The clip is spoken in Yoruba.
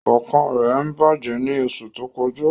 Ọkàn rẹ bajẹ ni oṣu to kọja.